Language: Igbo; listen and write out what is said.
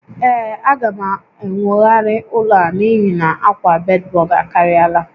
Ee, a ga m enwogharị ụlọ a n'ihi na akwa bedbug akariala